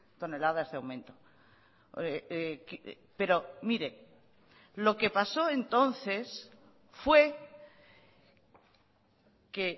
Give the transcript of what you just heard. toneladas de aumento pero mire lo que pasó entonces fue que